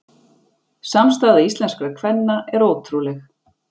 Samstaða íslenskra kvenna er ótrúleg